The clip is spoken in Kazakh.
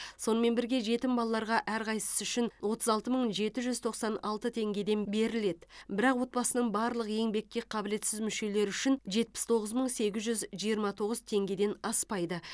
сонымен бірге жетім балаларға әрқайсысы үшін отыз алты мың жеті жүз тоқсан алты теңгеден беріледі бірақ отбасының барлық еңбекке қабілетсіз мүшелері үшін жетпіс тоғыз мың сегіз жүз жиырма тоғыз теңгеден аспайды